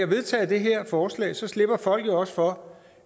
vedtager det her forslag slipper folk jo også for